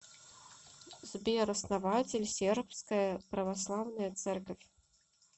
сбер основатель сербская православная церковь